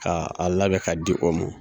K' a labɛn ka di o ma.